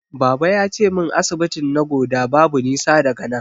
Baba yace min asibitin Nagoda babu nisa daga nan.